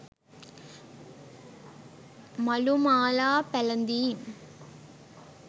මලු මාලා පැළඳීම්,